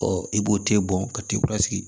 i b'o te bɔn ka t'i kura sigi